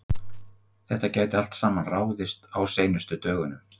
Þetta gæti allt saman ráðist á seinustu dögunum.